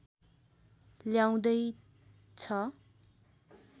ल्याउँदै छ